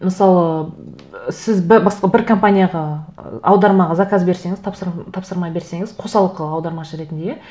мысалы сіз басқа бір компанияға ы аудармаға заказ берсеңіз тапсырма берсеңіз қосалқы аудармашы ретінде иә